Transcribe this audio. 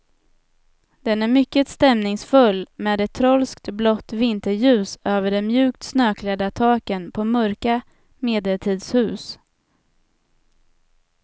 Den är mycket stämningsfull, med ett trolskt blått vinterljus över de mjukt snöklädda taken på mörka medeltidshus.